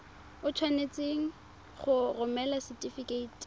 o tshwanetse go romela setefikeiti